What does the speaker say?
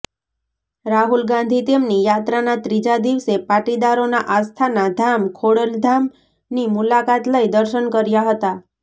રાહુલ ગાંધી તેમની યાત્રાના ત્રીજા દિવસે પાટીદારોના આસ્થાના ધામ ખોડલધામની મુલાકાત લઈ દર્શન કર્યા હતા